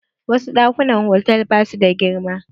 Wasu ɗakunan hotal ba su da girma.